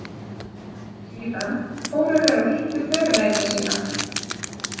Síðan fóru þeir og hittu förunauta sína.